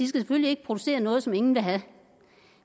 selvfølgelig ikke producere noget som ingen vil have